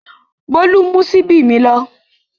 Bólú mú ṣíbí mi lọ.